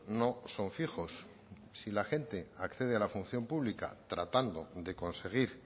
no son fijos si la gente accede a la función pública tratando de conseguir